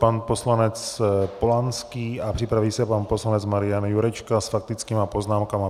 Pan poslanec Polanský a připraví se pan poslanec Marian Jurečka s faktickými poznámkami.